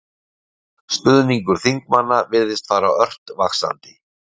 Stuðningur þingmanna virðist fara ört vaxandi